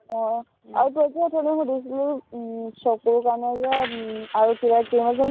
আহ আৰু তই যে উথনি সুধিছিলি উম চকুৰ কাৰনে যে আৰু উম আৰু কিবা cream আছে ন